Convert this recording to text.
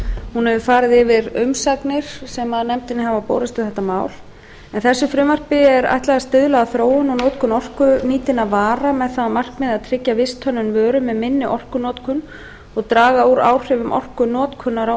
hún hefur farið yfir umsagnir sem nefndinni hafa borist um þetta mál en frumvarpinu er ætlað að stuðla að þróun og notkun orkunýtinna vara með það að markmiði að tryggja visthönnun vöru með minni orkunotkun og draga úr áhrifum orkunotkunar á